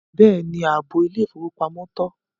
Bẹ́ẹ̀ni, áàbọ ilẹ̀-ifowópamọ̀ tọ.